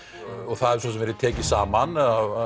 það hefur verið tekið saman